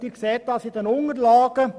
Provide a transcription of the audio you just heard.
Dies entnehmen Sie den Unterlagen.